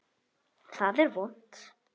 Það er vont.